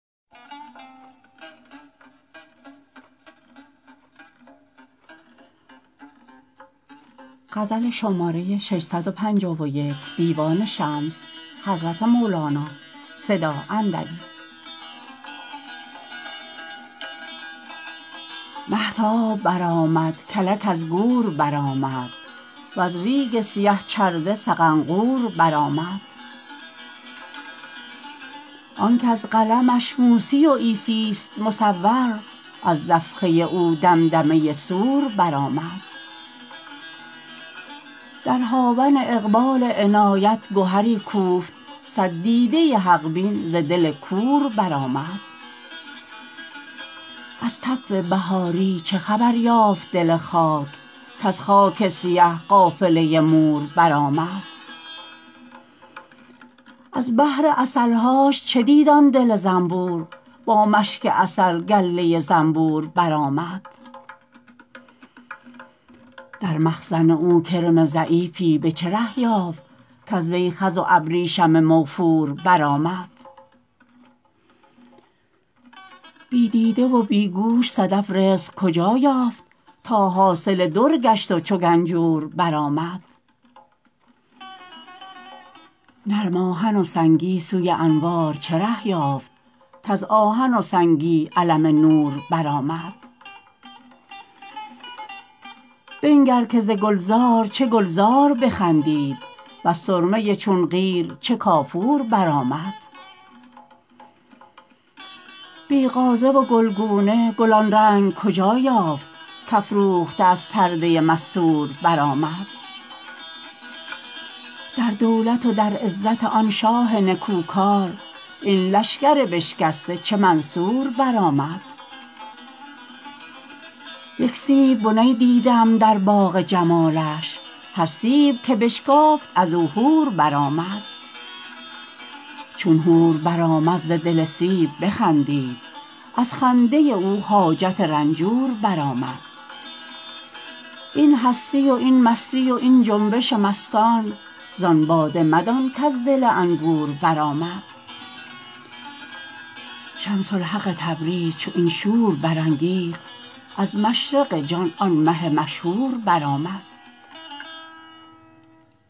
مهتاب برآمد کلک از گور برآمد وز ریگ سیه چرده سقنقور برآمد آنک از قلمش موسی و عیسیست مصور از نفخه او دمدمه صور برآمد در هاون اقبال عنایت گهری کوفت صد دیده حق بین ز دل کور برآمد از تف بهاری چه خبر یافت دل خاک کز خاک سیه قافله مور برآمد از بحر عسل هاش چه دید آن دل زنبور با مشک عسل گله زنبور برآمد در مخزن او کرم ضعیفی به چه ره یافت کز وی خز و ابریشم موفور برآمد بی دیده و بی گوش صدف رزق کجا یافت تا حاصل در گشت و چو گنجور برآمد نرم آهن و سنگی سوی انوار چه ره یافت کز آهن و سنگی علم نور برآمد بنگر که ز گلزار چه گلزار بخندید وز سرمه چون قیر چه کافور برآمد بی غازه و گلگونه گل آن رنگ کجا یافت کافروخته از پرده مستور برآمد در دولت و در عزت آن شاه نکوکار این لشگر بشکسته چه منصور برآمد یک سیب بنی دیدم در باغ جمالش هر سیب که بشکافت از او حور برآمد چون حور برآمد ز دل سیب بخندید از خنده او حاجت رنجور برآمد این هستی و این مستی و این جنبش مستان زان باده مدان کز دل انگور برآمد شمس الحق تبریز چو این شور برانگیخت از مشرق جان آن مه مشهور برآمد